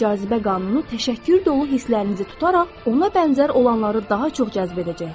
Cazibə qanunu təşəkkür dolu hisslərinizi tutaraq, ona bənzər olanları daha çox cəzb edəcəkdir.